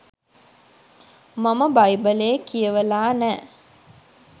මම බයිබලේ කියවලා නෑ.